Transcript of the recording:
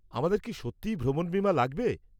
আমাদের কি সত্যিই ভ্রমণ বিমা লাগবে?